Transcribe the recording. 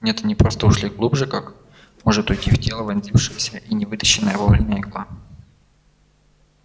нет они просто ушли глубже как может уйти в тело вонзившаяся и не вытащенная вовремя игла